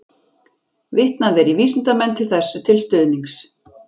Vitnað er í vísindamenn þessu til stuðnings.